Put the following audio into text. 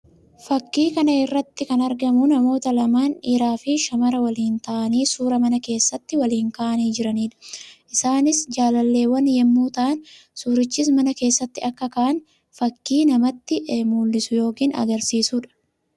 Fakkii kana irratti kan argamu namoota lamaan dhiiraa fi shamara waliin taa'aanii suuraa mana keesssatti waliin kaa'aanii jiraniidha. Isaannis jaalalleewwan yammuu ta'an; suurichas mana keessatti akka ka'an fakkii namatti mul'isu yookii agarsiisuudha.